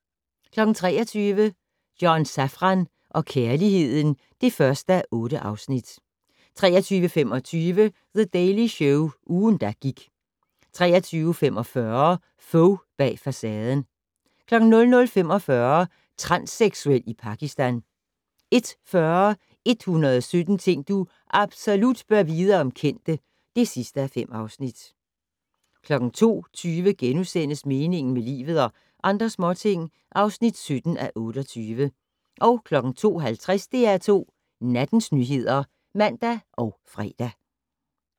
23:00: John Safran og kærligheden (1:8) 23:25: The Daily Show - ugen, der gik 23:45: Fogh bag facaden 00:45: Transseksuel i Pakistan 01:40: 117 ting du absolut bør vide om kendte (5:5) 02:20: Meningen med livet - og andre småting (17:28)* 02:50: DR2 Nattens nyheder (man og fre)